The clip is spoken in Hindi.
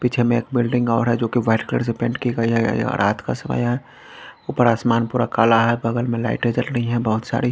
पीछे में एक बिल्डिंग और है जो कि वाइट कलर से पेंट की गई है रात का समय है ऊपर आसमान पूरा काला है बगल में लाइटें जल रही है बहुत सारी।